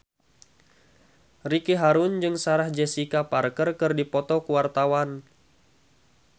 Ricky Harun jeung Sarah Jessica Parker keur dipoto ku wartawan